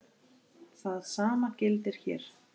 Það sama gildir hér.